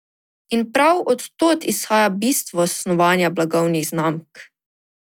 In prav od tod izhaja bistvo snovanja blagovnih znamk.